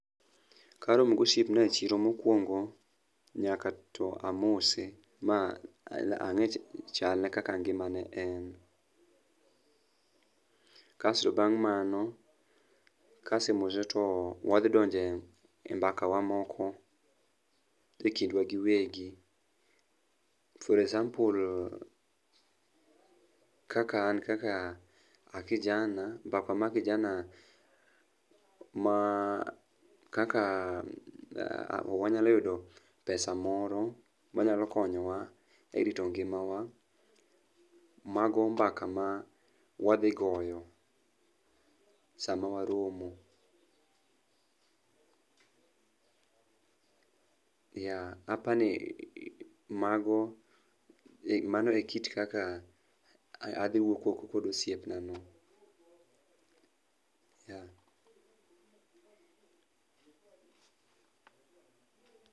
Karomo gosiepna e chiro mokwongo nyaka to amose ma ang'e chalne kaka ngimane en, kasto bang' mano kasemose to wadhi donjo e mbakawa moko e kindwa giwegi for example kaka an kaka an kijana, mbaka ma kijana ma kaka wanyalo yudo pesa moro ma nyalo konyowa e rito ngimawa. Mago mbaka ma wadhigoyo sama waromo. Yeah, apani mano e kit kaka adhi wuoyo kod osiepnano, yeah.